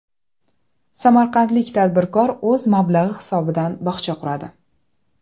Samarqandlik tadbirkor o‘z mablag‘i hisobidan bog‘cha quradi.